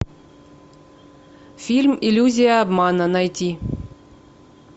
фильм иллюзия обмана найти